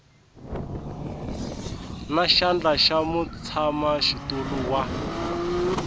na xandla xa mutshamaxitulu wa